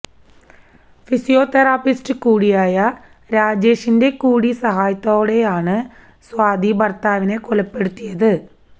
physiotherapist കൂടിയായ രാജേഷിന്റെ കൂടി സഹായത്തോടെയാണ് സ്വാതി ഭര്ത്താവിനെ കൊലപ്പെടുത്തിയത്